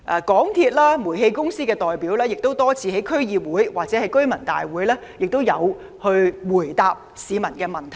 港鐵公司及煤氣公司的代表亦多次在區議會或居民大會上答覆市民的問題。